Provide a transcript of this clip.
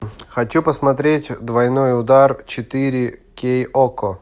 хочу посмотреть двойной удар четыре кей окко